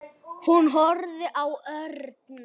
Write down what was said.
Hún horfði á Örn.